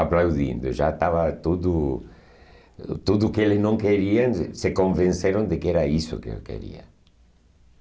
Aplaudindo, já estava tudo... Tudo que eles não queriam, se se convenceram de que era isso que eu queria.